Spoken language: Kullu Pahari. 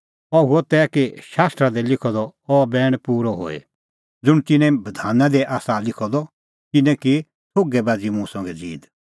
अह हुअ तै कि शास्त्रा दी लिखअ द अह बैण पूरअ होए ज़ुंण तिन्नें बधाना दी आसा लिखअ द तिन्नैं की थोघै बाझ़ी मुंह संघै ज़ीद